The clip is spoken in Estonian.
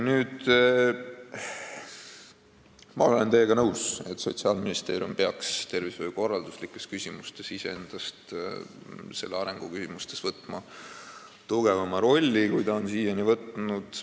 Ma olen teiega nõus, et Sotsiaalministeerium peaks tervishoiukorralduslikes, tervishoiu arengu küsimustes võtma endale tugevama rolli, kui ta on siiani võtnud.